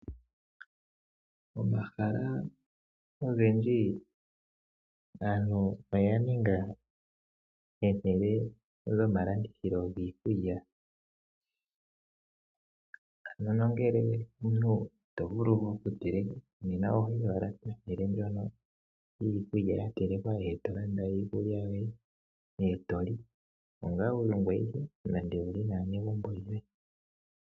Omahala ogendji aantu oyaninga ehala lyomalandithilo giikulya. Ano nongele omuntu ito vulu okuteleka nena ohoyi owala kehala ndyono lyiikulya ya telekwa nale eto landa iikulya yoye eto li ngele wuli ongoye awike nenge wuli naanegumbo lyoye.